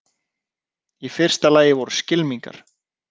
Í fyrsta lagi voru skylmingar.